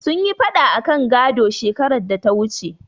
Sun yi faɗa akan gado, shekarar data wuce.